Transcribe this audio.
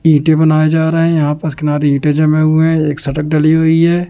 ईंटें बनाया जा रहा है यहां पास किनारे ईंटें जमें हुए हैं एक सड़क डली हुई है।